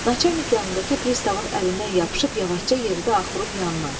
Naçalnik yanındakı pristavın əlindən yapışıb yavaşca yeridə axurun yanına.